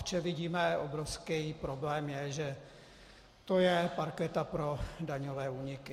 V čem vidíme obrovský problém, je, že to je parketa pro daňové úniky.